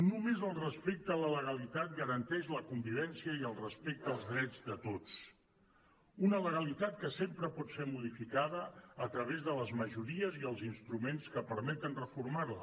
només el respecte a la legalitat garanteix la convivència i el respecte als drets de tots una legalitat que sempre pot ser modificada a través de les majories i els instruments que permeten reformar la